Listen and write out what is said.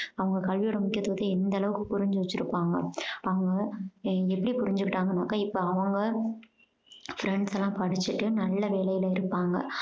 அவங்க கல்வியோட முக்கியத்துவத்த எந்த அளவுக்கு புரிஞ்சு வச்சிருப்பாங்க. அவங்க எ~ எப்படி புரிஞ்சுக்கிட்டாங்கனாக்க இப்போ அவங்க friends லாம் படிச்சுட்டு நல்ல வேலைல இருப்பாங்க